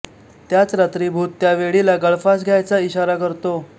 त्याच रात्री भूत त्या वेडीला गळफास घ्यायचा ईशारा करतो